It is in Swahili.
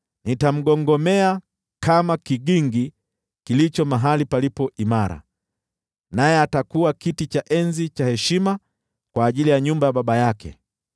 Nitamgongomea kama kigingi kilicho mahali palipo imara, naye atakuwa kiti cha enzi cha heshima kwa ajili ya nyumba ya baba yake.